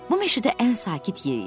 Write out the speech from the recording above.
Bu meşədə ən sakit yer idi.